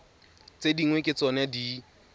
tse dingwe ke tsona di